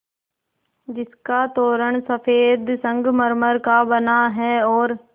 जिसका तोरण सफ़ेद संगमरमर का बना है और